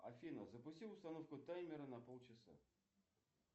афина запусти установку таймера на полчаса